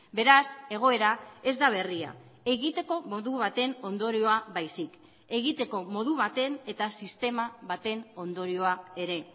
beraz egoera ez da berria egiteko modu baten ondorioa baizik egiteko modu baten eta sistema baten ondorioa ere